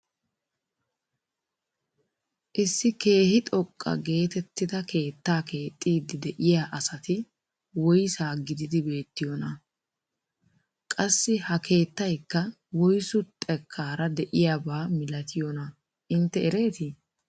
Issi keehi xoqqa getettida keettaa keexxiidi de'iyaa asati woysaa gididi beettiyoonaa? qassi ha keettaykka woyssu xekkaara de'iyaabba milatiyoonaa intte eretii?